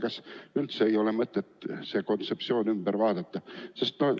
Kas ei ole mõtet seda kontseptsiooni muuta?